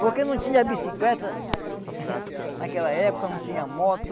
Porque não tinha bicicleta naquela época, não tinha moto.